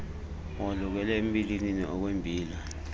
walukele embilinini okwembila